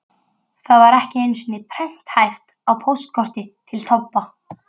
Það var ekki einu sinni prenthæft á póstkorti til Tobba.